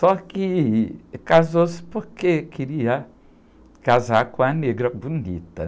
Só que, eh, casou-se porque queria casar com a negra bonita.